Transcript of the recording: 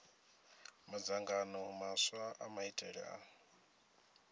madzangano maswa a maitele a